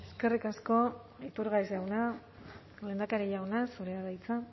eskerrik asko iturgaiz jauna lehendakari jauna zurea da hitza